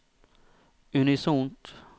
unisont